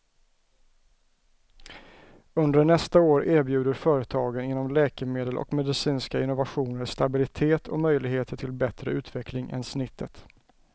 Under nästa år erbjuder företagen inom läkemedel och medicinska innovationer stabilitet och möjligheter till bättre utveckling än snittet.